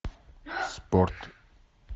спорт